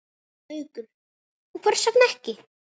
Haukur: Og hvers vegna ekki?